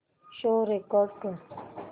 show record कर